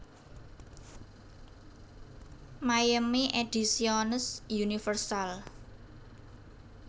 Miami Ediciones Universal